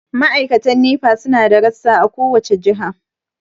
Ma'aikatan Nepa su na da rassa a kowace jiha.